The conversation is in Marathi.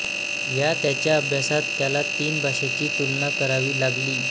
या त्याच्या अभ्यासात त्याला तीन भाषेची तुलना करावी लागली